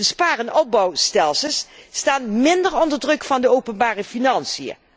De spaar en opbouwstelsels staan minder onder druk van de openbare financiën.